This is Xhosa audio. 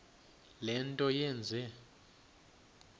le nto yenze